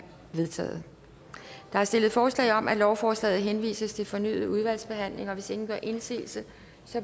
vedtaget der er stillet forslag om at lovforslaget henvises til fornyet udvalgsbehandling og hvis ingen gør indsigelse